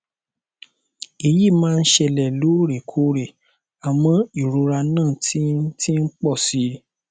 èyí máa ń ṣẹlẹ lóòrèkóòrè àmọ ìrora náà ti ti ń pọ si